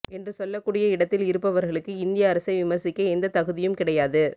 என்று சொல்லக்கூடிய இடத்தில் இருப்பவர்களுக்கு இந்திய அரசை விமரிசிக்க எந்த தகுதியும் கிடையாது